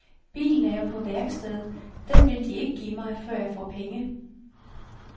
Bilen er jo på værksted, den vil de ikke give mig, før jeg får penge.